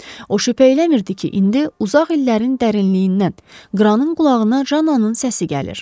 O şübhə eləmirdi ki, indi uzaq illərin dərinliyindən qranın qulağına jannanın səsi gəlir.